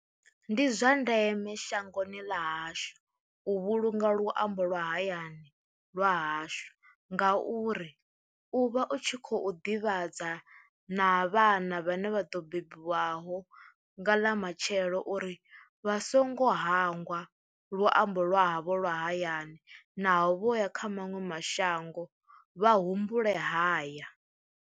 Ndi zwa ndeme shangoni ḽa hashu u vhulunga luambo lwa hayani lwa hashu, ngauri u vha u tshi khou ḓivhadza na vhana vhane vha ḓo bebiwaho nga ḽa matshelo uri vha songo hangwa luambo lwa havho lwa hayani naho vho ya kha maṅwe mashango vha humbule haya.